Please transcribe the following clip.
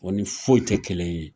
O ni foyi te kelen ye.